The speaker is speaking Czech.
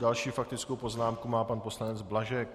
Další faktickou poznámku má pan poslanec Blažek.